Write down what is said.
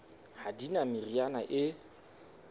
ha di na meriana e